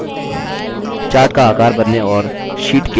data के लिए pie chart प्रविष्ट करें